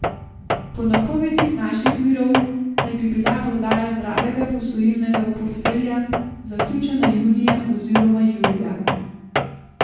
Po napovedih naših virov naj bi bila prodaja zdravega posojilnega portfelja zaključena junija oziroma julija.